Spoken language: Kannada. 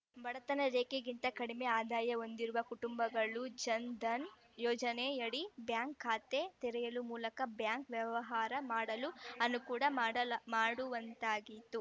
ಬಡತನ ರೇಖೆಗಿಂತ ಕಡಿಮೆ ಆದಾಯ ಹೊಂದಿರುವ ಕುಟುಂಬಗಳು ಜನ್‌ಧನ್‌ ಯೋಜನೆಯಡಿ ಬ್ಯಾಂಕ್‌ ಖಾತೆ ತೆರೆಯುವ ಮೂಲಕ ಬ್ಯಾಂಕ್‌ ವ್ಯವಹಾರ ಮಾಡಲು ಅನುಕೂಡ ಮಾಡಲ ಮಾಡುವಂತಾಗಿತು